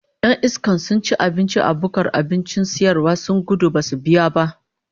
Yan iskan sun ci abinci a bukkar abincin sayarwa sun gudu Badu biya ba